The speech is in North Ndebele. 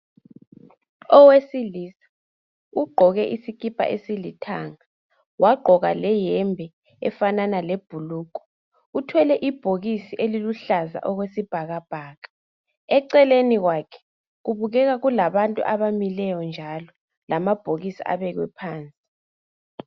Owesilisa ugqoke iskipa esilithanga wagqoka leyembe efanana lebhulugwe uthwele ibhokisi eliluhlaza okwesibhakabhaka eceleni kwakhe kubukela kulabantu abamileyo njalo lamabhokisi abekwe phansi